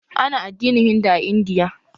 Ana addinin Hindu a Indiya